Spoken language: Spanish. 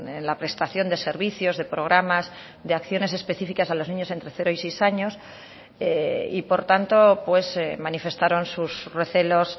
en la prestación de servicios de programas de acciones específicas a los niños entre cero y seis años y por tanto manifestaron sus recelos